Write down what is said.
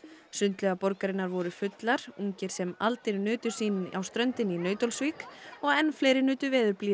sundlaugar borgarinnar voru fullar ungir sem aldir nutu sín á ströndinni í Nauthólsvík og enn fleiri nutu veðurblíðunnar